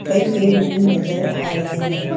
कई पेड़ भी नजर आ रहे हैं।